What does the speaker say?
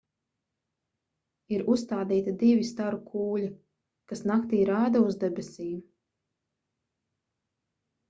ir uzstādīti divi staru kūļi kas naktī rāda uz debesīm